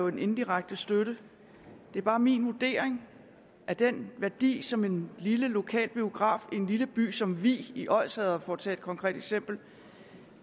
en indirekte støtte det er bare min vurdering at den værdi som en lille lokal biograf i en lille by som vig i odsherred for at tage et konkret eksempel